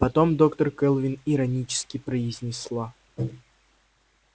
потом доктор кэлвин иронически произнесла